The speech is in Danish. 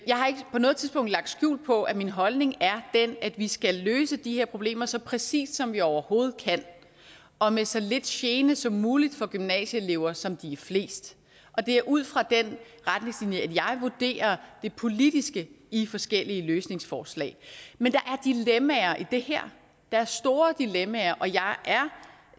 jeg har ikke på noget tidspunkt lagt skjul på at min holdning er den at vi skal løse de her problemer så præcist som vi overhovedet kan og med så lidt gene som muligt for gymnasieelever som de er flest det er ud fra den retningslinje jeg vurderer det politiske i forskellige løsningsforslag men der er dilemmaer i det her der er store dilemmaer og jeg